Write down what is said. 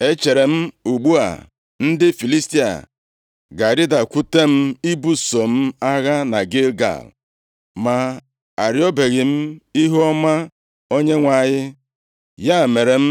echeere m, ‘Ugbu a, ndị Filistia ga-arịdakwute m ibuso m agha na Gilgal, ma arịọbeghị m ihuọma Onyenwe anyị.’ Ya mere m,